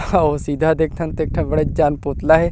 हाव सीधा देख थन त एक ठा बड़ेज जान पुतला हे।